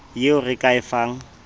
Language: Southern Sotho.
yeo re ka e fang